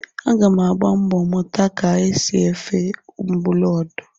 Aga m agba mbọ mụta ka e si esi ofe mgbọlọdị